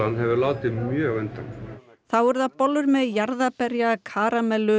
hefur látið mjög undan þá eru það bollur með jarðaberja karamellu